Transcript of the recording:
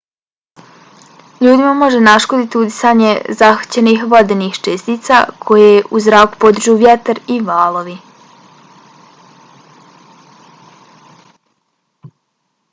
ljudima može naškoditi udisanje zahvaćenih vodenih čestica koje u zrak podižu vjetar i valovi